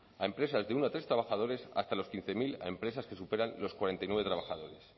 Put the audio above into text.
a empresas de uno a tres trabajadores hasta los quince mil a empresas que superan los cuarenta y nueve trabajadores